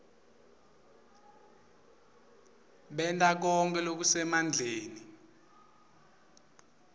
benta konkhe lokusemandleni